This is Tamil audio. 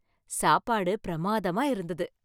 சாப்பாடு பிரம்மாதமா இருந்தது